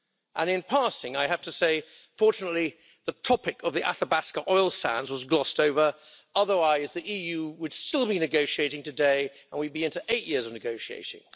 And in passing, I have to say, fortunately, the topic of the Athabasca oil sands was glossed over, otherwise the EU would still be negotiating today, and we'd be into eight years of negotiations.